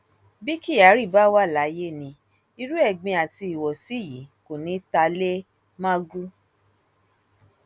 bí kyari bá wà láyé ni irú ẹgbin àti ìwọsí yìí kò ní í ta lé magu